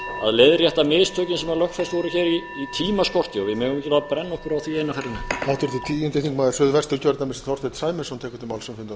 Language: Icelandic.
að leiðrétta mistökin sem lögfest voru hér í tímaskorti við megum ekki brenna okkur á því eina ferðina enn